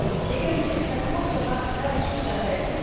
L'égalité de traitement sera là aussi la règle.